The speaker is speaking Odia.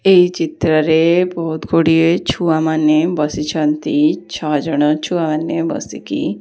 ଏହି ଚିତ୍ରରେ ବହୁତ୍ ଗୁଡ଼ିଏ ଛୁଆମାନେ ବସିଛନ୍ତି ଛଅ ଜଣ ଛୁଆମାନେ ବସିକି --